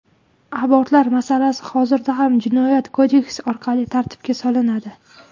Abortlar masalasi hozirda ham jinoyat kodeksi orqali tartibga solinadi.